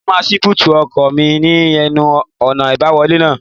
Mo máa ṣí búùtì ọkọ̀ mi ní ẹnu-ọ̀nà àbáwọlé náà